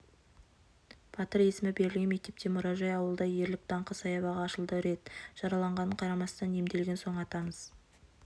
батыр есімі берілген мектепте мұражай ауылда ерлік даңқы саябағы ашылды рет жараланғанына қарамастан емделген соң атамыз